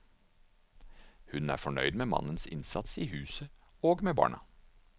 Hun er fornøyd med mannens innsats i huset og med barna.